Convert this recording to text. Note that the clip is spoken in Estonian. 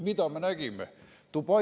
Mida me nägime?